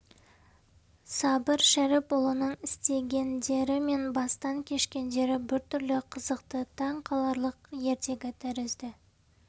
сабыр шәріпұлының істегендері мен бастан кешкендері біртүрлі қызықты таңқаларлық ертегі тәрізді